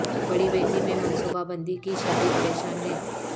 بڑی بیٹی میں منصوبہ بندی کی شادی پریشان ہے